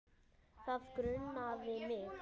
Það grunaði mig.